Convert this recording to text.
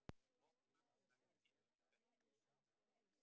Hópnum verður skipt í tvennt.